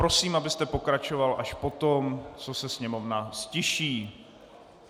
Prosím, abyste pokračoval až poté, co se sněmovna ztiší.